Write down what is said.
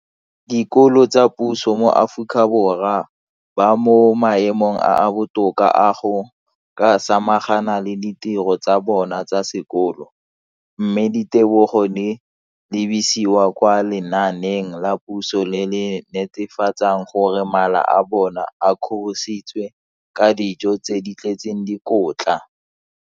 Dikolo tsa puso mo Aforika Borwa ba mo maemong a a botoka a go ka samagana le ditiro tsa bona tsa sekolo, mme ditebogo di lebisiwa kwa lenaaneng la puso le le netefatsang gore mala a bona a kgorisitswe ka dijo tse di tletseng dikotla.